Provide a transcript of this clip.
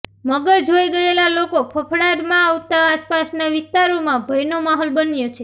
મગર જોઇ ગયેલા લોકો ફફડાટમાં આવતા આસપાસના વિસ્તારોમાં ભયનો માહોલ બન્યો છે